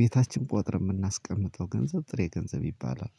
ቤታችን ቆጥረን የምናስቀምጠው ገንዘብ ጥሬ ገንዘብ ይባላል።